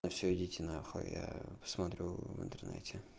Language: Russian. всё идите на хуй а я посмотрю в интернете